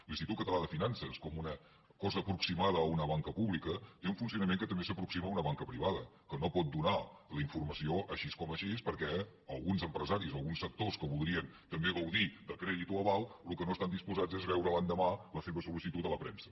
l’institut català de finances com una cosa aproximada a una banca pública té un funcionament que també s’aproxima a una banca privada que no pot donar la informació així com així perquè alguns empresaris o alguns sectors que voldrien també gaudir de crèdit o aval al que no estan disposats és a veure l’endemà la seva sollicitud a la premsa